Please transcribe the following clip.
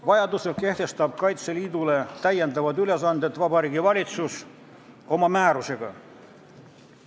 Vajadusel kehtestab Kaitseliidule täiendavad ülesanded Vabariigi Valitsus oma määrusega.